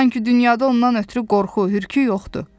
Sanki dünyada ondan ötrü qorxu, hürkür yoxdur.